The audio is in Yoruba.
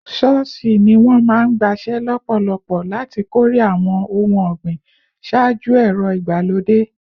Ṣọ́ọ̀ṣì ni wọ́n máa ń gbaṣẹ́ lọ́pọ̀lọpọ̀ láti kórè àwọn ohun ọ̀gbìn ṣáájú ẹ̀rọ ìgbàlódé